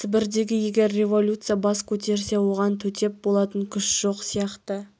сібірдің егер революция бас көтерсе оған төтеп болатын күш жоқ сияқты